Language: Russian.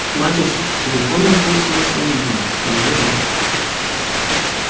мать у суки телефоном пользовалась наивно неуверенно